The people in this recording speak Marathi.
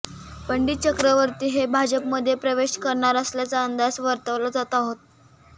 पंडित चक्रवर्ती हे भाजपमध्ये प्रवेश करणार असल्याचा अंदाज वर्तवला जात आहे